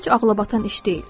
Heç ağlabatan iş deyil.